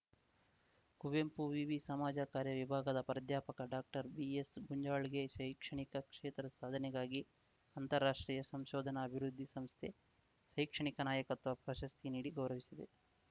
ಕುವೆಂಪು ವಿವಿ ಸಮಾಜಕಾರ್ಯ ವಿಭಾಗದ ಪ್ರಾಧ್ಯಾಪಕ ಡಾಕ್ಟರ್ ಬಿಎಸ್‌ ಗುಂಜಾಳ್‌ಗೆ ಶೈಕ್ಷಣಿಕ ಕ್ಷೇತ್ರದ ಸಾಧನೆಗಾಗಿ ಅಂತಾರಾಷ್ಟ್ರೀಯ ಸಂಶೋಧನಾ ಅಭಿವೃದ್ಧಿ ಸಂಸ್ಥೆ ಶೈಕ್ಷಣಿಕ ನಾಯಕತ್ವ ಪ್ರಶಸ್ತಿ ನೀಡಿ ಗೌರವಿಸಿದೆ